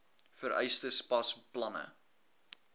vereistes pas planne